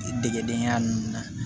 Degedenya nunnu na